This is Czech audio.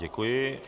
Děkuji.